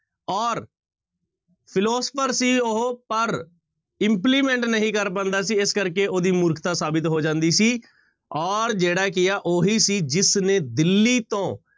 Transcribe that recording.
ਔਰ philosopher ਸੀ ਉਹ ਪਰ implement ਨਹੀਂ ਕਰ ਪਾਉਂਦਾ ਸੀ, ਇਸ ਕਰਕੇ ਉਹਦੀ ਮੂਰਖਤਾ ਸਾਬਿਤ ਹੋ ਜਾਂਦੀ ਸੀ ਔਰ ਜਿਹੜਾ ਕੀ ਹੈ ਉਹੀ ਸੀ ਜਿਸਨੇ ਦਿੱਲੀ ਤੋਂ